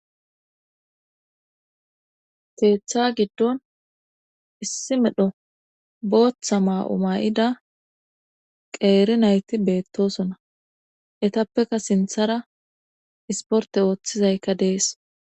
Keeththa giddon issi medho booththa maa7oma7ida qeeri nayti beettosona etappeka sinthara isporte ooththizaykka dees